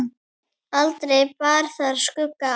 Aldrei bar þar skugga á.